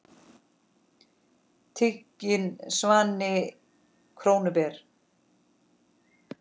Tiginn svanni krónu ber.